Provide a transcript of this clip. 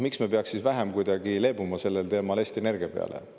Miks me peaks siis kuidagi rohkem leebuma Eesti Energia peale?